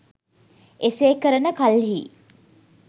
එසේ කරන කල්හි